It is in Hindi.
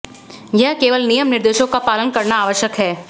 यह केवल नियम निर्देशों का पालन करना आवश्यक है